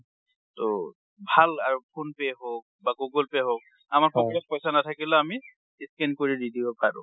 ট ভাল আৰ phone pay হওঁক বা google pay হওঁক, আমাৰ cash পৈচা নাথাকিলেও আমি scan কৰি দি দিব পাৰো।